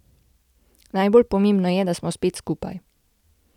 Najbolj pomembno je, da smo spet skupaj.